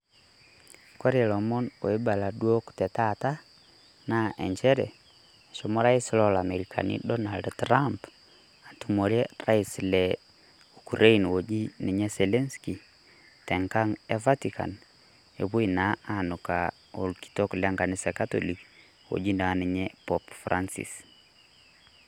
Kore lomoon oibaala dook te taata naa encheere eshomoo rais lo amerikani Donald Trump atumore rais le ukraine ojii ninye selensinky teng'a e vetikan nepoi naa anukaa olkitook le nkanisa e nkatolik oji naa ninye Pope Francis.